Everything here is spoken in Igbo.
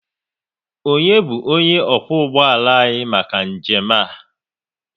Onye bu onye okwu ụgbọala anyị maka njem a?